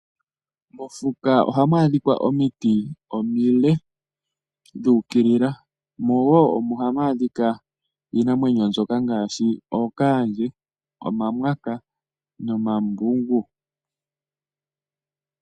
Mofuka ohamu adhika omiti omile dhu ukilila. Omo woo hamu adhika iinamwenyo ngaashi ookaandje, omamwanka nomambungu.